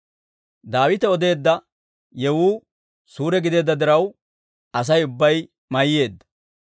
Daawite odeedda yewuu suure gideedda diraw, Asay ubbay mayyeedda.